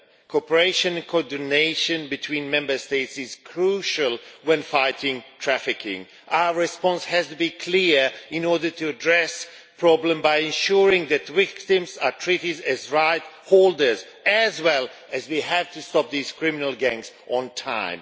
Cooperation and coordination between Member States is crucial when fighting trafficking. Our response has to be clear in order to address the problem by ensuring that victims are also treated as rightsholders as well as we have to stop these criminal gangs on time.